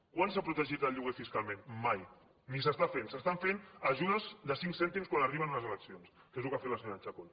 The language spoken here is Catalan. quan s’ha protegit el lloguer fiscalment mai ni s’està fent s’estan fent ajudes de cinc cèntims quan arriben unes eleccions que és el que ha fet la senyora chacón